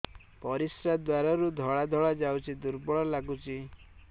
ପରିଶ୍ରା ଦ୍ୱାର ରୁ ଧଳା ଧଳା ଯାଉଚି ଦୁର୍ବଳ ଲାଗୁଚି